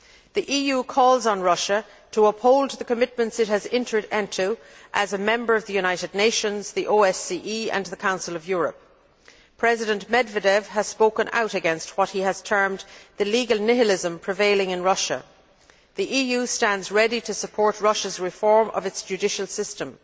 The EU calls on Russia to uphold the commitments it has entered into as a member of the United Nations, the OSCE and the Council of Europe. President Medvedev has spoken out against what he has termed the legal nihilism prevailing in Russia. The EU stands ready to support Russia's reform of its judicial system.